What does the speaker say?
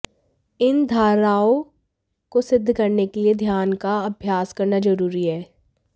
इन धारणाओं को सिद्ध करने के लिए ध्यान का अभ्यास करना जरूरी है